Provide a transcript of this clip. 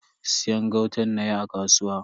Siyan gautan nayi a kasuwa.